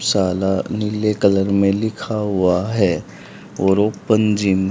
साला नीले कलर में लिखा हुआ है और ओपन जिम --